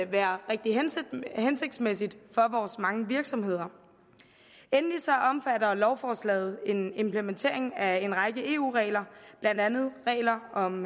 være rigtig hensigtsmæssigt for vores mange virksomheder endelig omfatter lovforslaget en implementering af en række eu regler blandt andet regler om